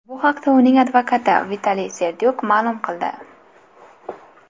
Bu haqda uning advokati Vitaliy Serdyuk ma’lum qildi.